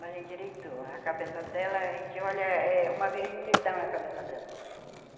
Mas endireitou, a cabeça dela, a gente olha, é uma vermelhidão na cabeça dela.